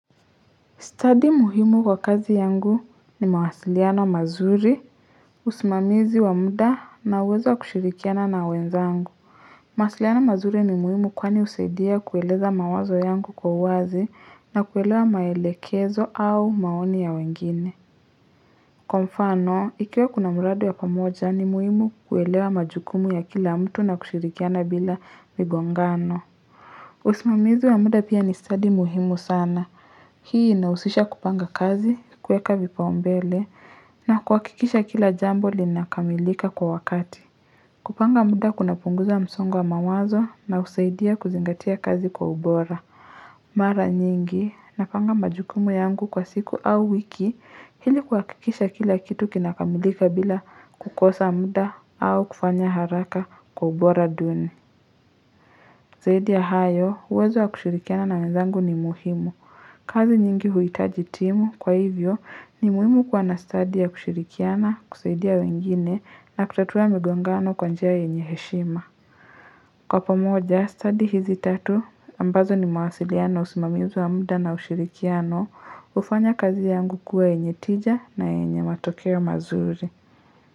Study muhimu kwa kazi yangu ni mawasiliano wa mazuri, usimamizi wa muda na uwezo kushirikiana na wenzangu. Mawasiliano mazuri ni muhimu kwani husaidia kueleza mawazo yangu kwa uwazi na kuelewa maelekezo au maoni ya wengine. Kwa mfano, ikiwe kuna miradi ya pamoja ni muhimu kuelewa majukumu ya kila mtu na kushirikiana bila migongano. Usimamizi wa muda pia ni study muhimu sana. Hii inahusisha kupanga kazi, kuweka vipaumbele, na kuhakikisha kila jambo linakamilika kwa wakati. Kupanga muda kuna punguza msongo wa mawazo na husaidia kuzingatia kazi kwa ubora. Mara nyingi, napanga majukumu yangu kwa siku au wiki, ili kuhakikisha kila kitu kinakamilika bila kukosa muda au kufanya haraka kwa ubora duni. Zaidi ya hayo, uwezo wa kushirikiana na wenzangu ni muhimu. Kazi nyingi huhitaji timu kwa hivyo ni muhimu kwa na study ya kushirikiana, kusaidia wengine na kutatua migongano kwa njia yenye heshima. Kwa pamoja, study hizi tatu ambazo ni mawasiliano, usimamizi wa muda na ushirikiano, hufanya kazi yangu kuwa yenye tija na yenye matokea mazuri.